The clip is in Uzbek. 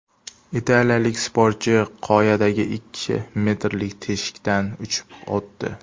Italiyalik sportchi qoyadagi ikki metrlik teshikdan uchib o‘tdi .